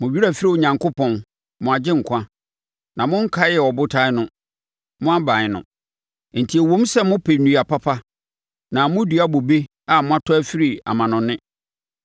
Mo werɛ afiri Onyankopɔn, mo Agyenkwa, na monkaee Ɔbotan no, mo aban no. Enti ɛwom sɛ mopɛ nnua papa na modua bobe a moatɔ afiri amanɔne.